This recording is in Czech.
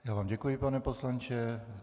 Já vám děkuji, pane poslanče.